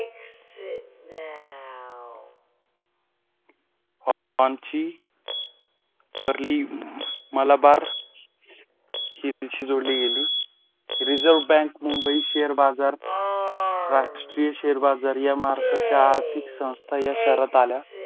आमची वरली मलाबार शेतीशी जोडली गेली. रिझर्व बँक मुंबई शेअर बाजार राष्ट्रीय शेअर बाजार या महाराष्ट्राच्या आर्थिक संस्था या शहरात आल्या.